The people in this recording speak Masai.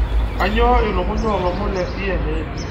kainyio ilukuny oolomon le c.n.n